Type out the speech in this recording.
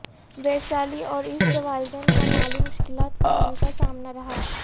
ویشالی اور اس کے والدین کو مالی مشکلات کا ہمیشہ سامنا رہا